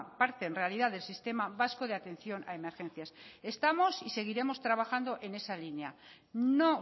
parte en realidad del sistema vasco de atención a emergencias estamos y seguiremos trabajando en esa línea no